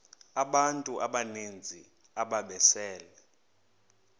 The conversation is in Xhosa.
abantu abaninzi ababesele